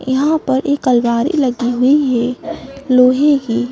यहां पर एक अलमारी लगी हुई है लोहे की।